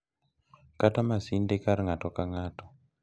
Kata masinde kar ng’ato ka ng’ato.